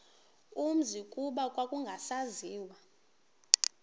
umzi kuba kwakungasaziwa